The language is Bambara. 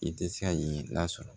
I tɛ se ka yen lasɔrɔ